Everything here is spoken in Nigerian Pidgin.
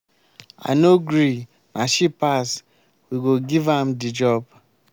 i no gree na she pass we go give am the job.